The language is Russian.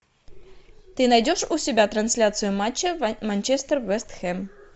ты найдешь у себя трансляцию матча манчестер вест хэм